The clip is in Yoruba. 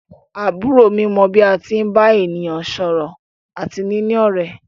Àbúrò mi mọ bí a tí ń bá ènìyàn sọ̀rọ̀ àti níní ọ̀rẹ́.